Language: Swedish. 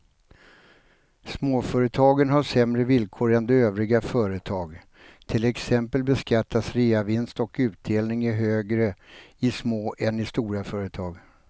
Småföretagen har sämre villkor än övriga företag, till exempel beskattas reavinst och utdelning högre i små än i stora företag.